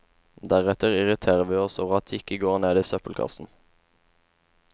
Deretter irriterer vi oss over at de ikke går ned i søppelkassen.